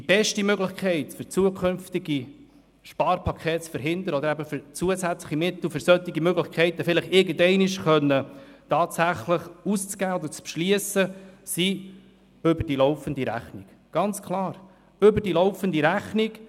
Die beste Art, zukünftige Sparpakete zu verhindern und zusätzliche Mittel für solche Möglichkeiten tatsächlich irgendeinmal beschliessen und ausgeben zu können, ist über die laufende Rechnung – ganz klar, über die laufende Rechnung.